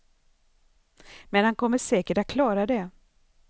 Men han kommer säkert att klara det.